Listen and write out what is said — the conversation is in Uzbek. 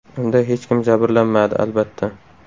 Unda hech kim jabrlanmadi, albatta.